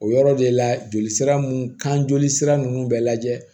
O yɔrɔ de la joli sira mun kan joli sira nunnu bɛɛ lajɛ